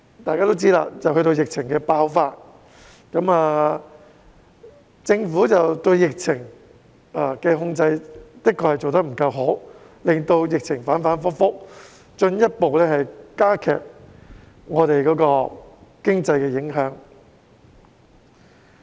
大家都知道，接着便爆發疫情，政府對疫情控制的確做得不夠好，令疫情反反覆覆，進一步加劇對經濟的影響。